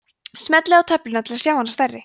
smellið á töfluna til að sjá hana stærri